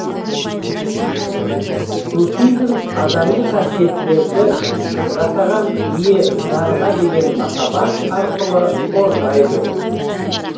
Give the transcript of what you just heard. суфизм адами қасиеттерді жасаған ие жарға деген махаббат арқылы қорғайды